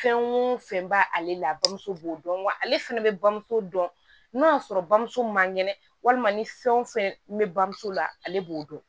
Fɛn o fɛn b'ale la bamuso b'o dɔn wa ale fɛnɛ bɛ bamuso dɔn n'o y'a sɔrɔ bamuso ma ŋɛnɛ walima ni fɛn wo fɛn be bamuso la ale b'o dɔn